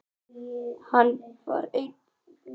Hann var einn.